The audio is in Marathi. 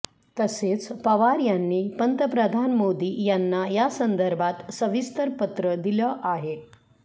तसेच पवार यांनी पंतप्रधान मोदी यांना यासंदर्भात सविस्तर पत्र दिलं आहे